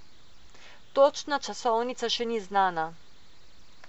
Točna časovnica še ni znana.